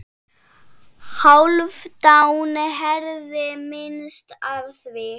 Hálfdán heyrði minnst af því.